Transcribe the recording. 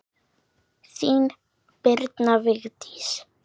Þín, Birna Vigdís.